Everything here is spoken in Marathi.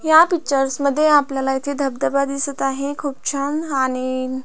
ह्या पिक्चर्स मध्ये आपल्याला इथे धबधबा दिसत आहे खुप छान आणि--